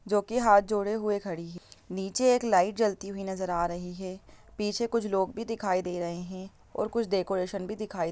जो कि हाथ जोड़े हुए खड़ी है नीचे एक लाईट जलती हुई नज़र आ रही है पीछे कुछ लोग भी दिखाई दे रहे हैं और कुछ डेकोरेशन भी दिखाई दे रहा है ।